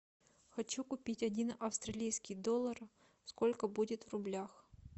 хочу купить один австралийский доллар сколько будет в рублях